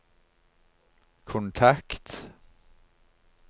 kontakt